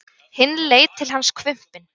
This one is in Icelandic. Hinn leit til hans hvumpinn.